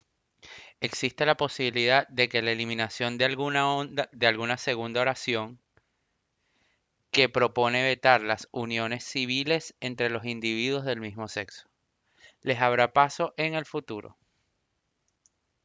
existe la posibilidad de que la eliminación de la segunda oración que propone vetar las uniones civiles entre individuos del mismo sexo les abra el paso en el futuro